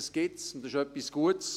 Das gibt es und es ist etwas Gutes.